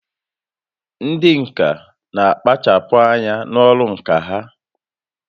Ndị ǹkà n'akpachapụ anya n'ọrụ ǹkà ha